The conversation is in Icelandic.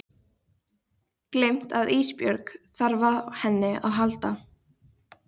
Gleymt að Ísbjörg þarf á henni að halda.